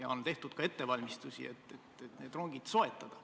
On juba tehtud ettevalmistusi, et need rongid soetada.